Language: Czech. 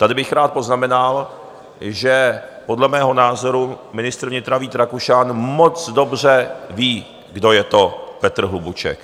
Tady bych rád poznamenal, že podle mého názoru ministr vnitra Vít Rakušan moc dobře ví, kdo je to Petr Hlubuček.